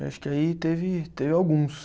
Acho que aí teve teve alguns.